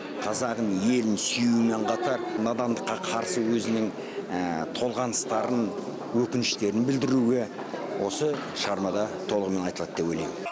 қазағын елін сүюімен қатар надандыққа қарсы өзінің толғаныстарын өкініштерін білдіруі осы шығармада толығымен айтылады деп ойлаймын